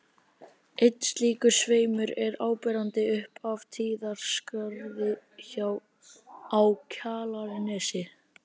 Einn slíkur sveimur er áberandi upp af Tíðaskarði á Kjalarnesi.